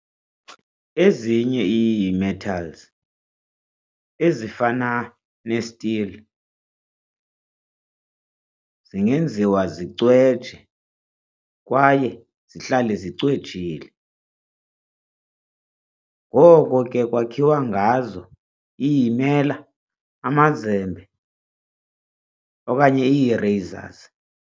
Ezinye ii-metals, ezifana ne-steel, zingenziwa zicweje kwaye zihlale zicwejile, ngoko ke kwakhiwa ngazo ii-mela, amazembe okanye ii-razors.